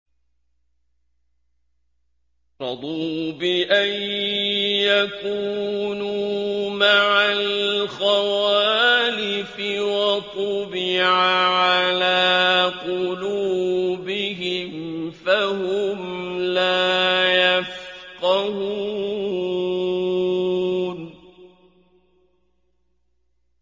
رَضُوا بِأَن يَكُونُوا مَعَ الْخَوَالِفِ وَطُبِعَ عَلَىٰ قُلُوبِهِمْ فَهُمْ لَا يَفْقَهُونَ